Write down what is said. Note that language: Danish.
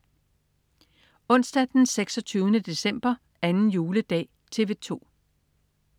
Onsdag den 26. december. 2. juledag - TV 2: